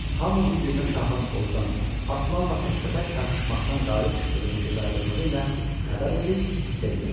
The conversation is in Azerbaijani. Hamı bir-birinə şahın ovdan, aslanla təkbətək çarpışmaqdan qalib çıxdığını gözaydınlığı ilə xəbər verir, sevinirdi.